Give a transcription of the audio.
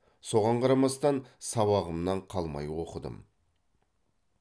соған қарамастан сабағымнан қалмай оқыдым